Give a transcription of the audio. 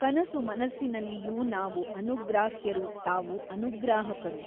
ಕನಸುಮನಸ್ಸಿನಲ್ಲಿಯೂ ನಾವು ಅನುಗ್ರಾಹ್ಯರು ತಾವು ಅನುಗ್ರಾಹಕರು.